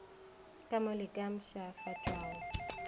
ka mo le ka mpshafatšwago